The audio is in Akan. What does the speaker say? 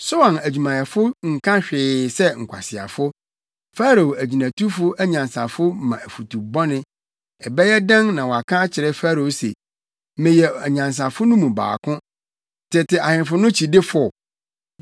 Soan adwumayɛfo nka hwee sɛ nkwaseafo; Farao agyinatufo anyansafo ma afotu bɔne. Ɛbɛyɛ dɛn na woaka akyerɛ Farao se, “Meyɛ anyansafo no mu baako, tete ahemfo no kyidifo?”